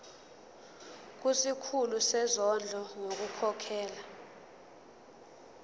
kusikhulu sezondlo ngokukhokhela